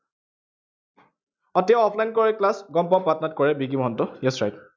আহ তেওঁ offline কৰে class গম পাওঁ, পাটনাত কৰে বিকি মহন্ত yes right